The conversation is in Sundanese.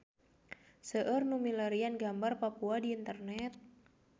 Seueur nu milarian gambar Papua di internet